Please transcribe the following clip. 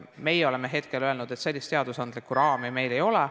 Meie oleme hetkel öelnud, et seadusandlikku raami meil ei ole.